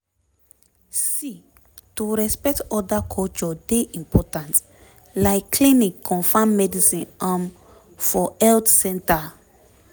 see to respect oda culture dey important like clinic confam medicine um for health center